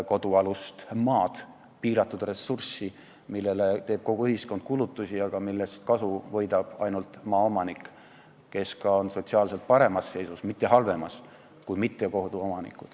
Kodualune maa on piiratud ressurss, millele teeb kulutusi kogu ühiskond, aga millest kasu saab ainult maaomanik, kes on ka sotsiaalselt paremas seisus kui mittekoduomanikud, mitte halvemas.